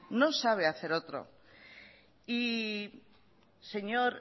no sabe hacer otro señor